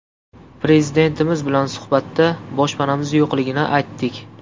Prezidentimiz bilan suhbatda boshpanamiz yo‘qligini aytdik.